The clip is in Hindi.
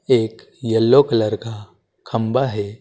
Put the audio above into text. एक येलो कलर का खंभा है।